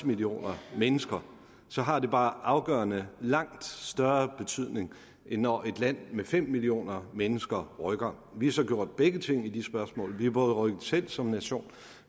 millioner mennesker så har det bare afgørende og langt større betydning end når et land med fem millioner mennesker rykker vi har så gjort begge ting i de spørgsmål vi har rykket selv som nation